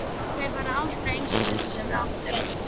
Þeir verða aldrei eins og þessir sem við áttum.